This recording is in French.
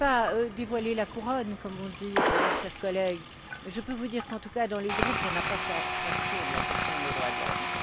Je ne voudrais pas dévoiler la couronne, comme on dit, cher collègue, mais je peux vous dire, qu'en tout cas, dans les groupes, on n'a pas fait abstraction de la question des droits de l'homme.